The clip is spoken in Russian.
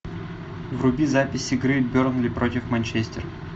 вруби запись игры бернли против манчестер